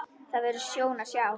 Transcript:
Það verður sjón að sjá.